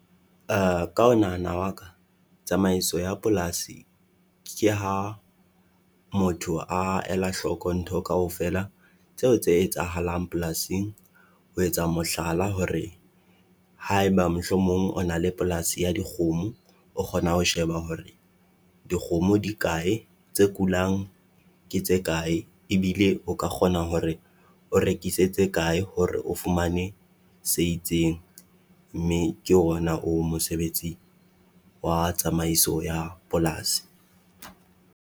Ka ho nahana wa ka, tsamaiso ya polasi ke ha motho a ela hloko ntho kaofela tseo tse etsahalang polasing, ho etsa mohlala hore. Haeba mohlomong o na le polasi ya dikgomo, o kgona ho sheba hore dikgomo di kae tse kulang. Ke tse kae ebile o ka kgona hore o rekisetse kae hore o fumane se itseng, mme ke ona o mosebetsi wa tsamaiso ya polasi.